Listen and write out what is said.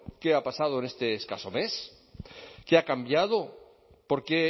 qué ha pasado en este escaso mes qué ha cambiado por qué